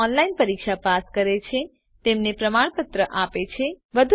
જેઓ ઓનલાઇન પરીક્ષા પાસ કરે છે તેમને પ્રમાણપત્ર આપે છે